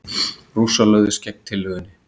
Rússar lögðust gegn tillögunni.